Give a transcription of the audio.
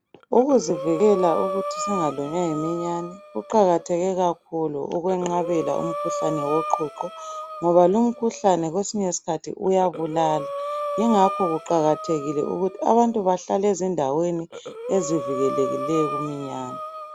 Ukuzivikela ukuthi singalunywa yiminyane kuqakatheke kakhulu ukwenqabela umkhuhlane woqhuqho ngoba lumkhuhlane kwesinye isikhathi uyabulala yingakho kuqakathekile ukuthi abantu bahlale ezindaweni ezivikelekileyo kuminyane.